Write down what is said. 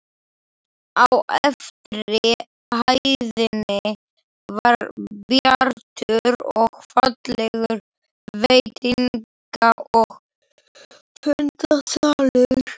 Á efri hæðinni var bjartur og fallegur veitinga- og fundasalur.